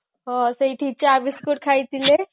ହଁ ସେଇଠି ଚା biscuit ଖାଇଥିଲେ